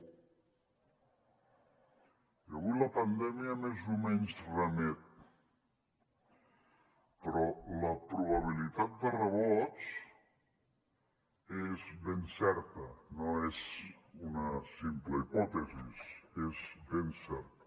i avui la pandèmia més o menys remet però la probabilitat de rebrots és ben certa no és una simple hipòtesi és ben certa